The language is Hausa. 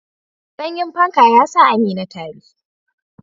Sanyin fanka ya sa Amina tari.